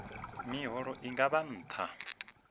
miholo i nga vha nṱha